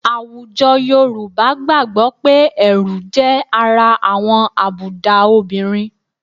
Àwùjọ Yorùbá gbàgbọ́ pé ẹ̀rù jẹ́ ara àwọn àbùdá obìnrin